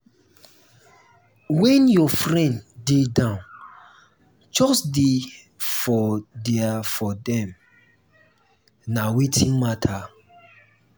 when your friend dey down just dey there for dem; na wetin matter.